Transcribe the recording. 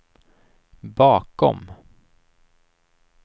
bakom